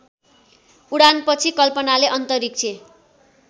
उडानपछि कल्पनाले अन्तरिक्ष